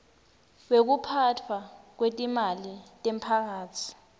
wekuphatfwa kwetimali temphakatsi